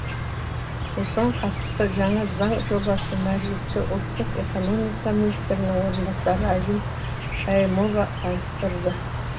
осыған қатысты жаңа заң жобасын мәжілісте ұлттық экономика министрінің орынбасары айгүл шаимова таныстырды